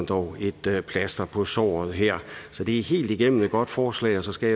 få et plaster på såret her så det er helt igennem et godt forslag og så skal